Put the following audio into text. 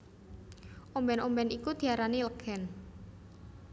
Ombèn ombèn iku diarani legèn